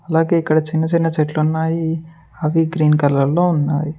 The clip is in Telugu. అలాగే ఇక్కడ చిన్న చిన్న చెట్లు ఉన్నాయి అవి గ్రీన్ కలర్ లో ఉన్నాయి.